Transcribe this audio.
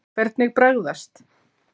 Hvernig bragðast?